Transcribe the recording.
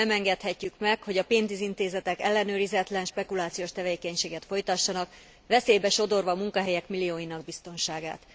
Nem engedhetjük meg, hogy a pénzintézetek ellenőrizetlen, spekulációs tevékenységet folytassanak, veszélybe sodorva munkahelyek millióinak biztonságát.